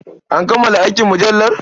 An kammala aikin mujallar?